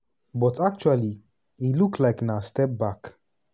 but actually e look like na step back.